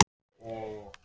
Konan opnaði öskjuna.